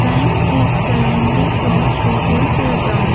bank is currently close shutter shutdown.